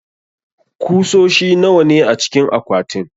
kusoshi nawa ne acikin akwatin?